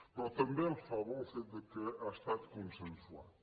però també el fa bo el fet que ha estat consensuat